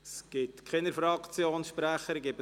Es haben sich keine Fraktionssprecher gemeldet.